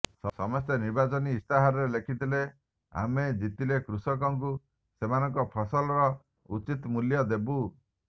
ସମସ୍ତେ ନିର୍ବାଚନୀ ଇସ୍ତାହାରରେ ଲେଖିଥିଲେ ଆମ ଜିତିଲେ କୃଷକଙ୍କୁ ସେମାନଙ୍କ ଫସଲର ଉଚିତ ମୂଲ୍ୟ ଦେବୁ